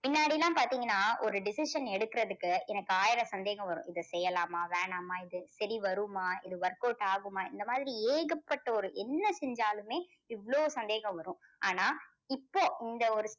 முன்னாடி எல்லாம் பார்த்தீங்கன்னா ஒரு decision எடுக்குறதுக்கு எனக்கு ஆயிரம் சந்தேகம் வரும். இது செய்யலாமா வேணாமா இது சரி வருமா இது workout ஆகுமா இந்த மாதிரி ஏகப்பட்ட ஒரு என்ன செஞ்சாலுமே இவ்வளோ சந்தேகம் வரும். ஆனால் இப்போ இந்த ஒரு